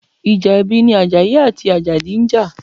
Ìjà ẹbí ni Àjàyí àti Àjàdí ń jà.